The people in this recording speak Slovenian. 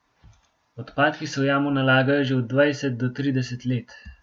Odpadki se v jamo nalagajo že od dvajset do trideset let.